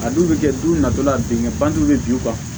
A dun bɛ kɛ du natɔ la a denkɛ bannen bɛ bin u kan